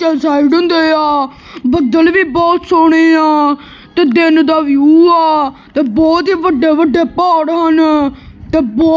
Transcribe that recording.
ਹੁੰਦੇ ਆ ਬੱਦਲ ਵੀ ਬਹੁਤ ਸੋਹਣੇ ਆ ਤੇ ਦਿਨ ਦਾ ਵਿਊ ਆ ਤੇ ਬਹੁਤ ਹੀ ਵੱਡੇ ਵੱਡੇ ਪਹਾੜ ਹਨ ਤੇ ਬਹੁਤ--